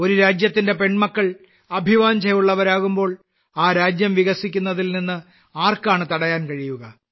ഒരു രാജ്യത്തിന്റെ പെൺമക്കൾ അഭിവാഞ്ഛകരാകുമ്പോൾ ആ രാജ്യം വികസിക്കുന്നതിൽ നിന്ന് ആർക്കാണ് തടയാൻ കഴിയുക